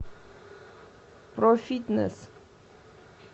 профитнесс